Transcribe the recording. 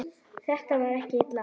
Þetta var ekki Lilla.